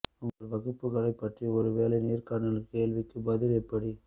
உங்கள் வகுப்புகளை பற்றி ஒரு வேலை நேர்காணல் கேள்விக்கு பதில் எப்படி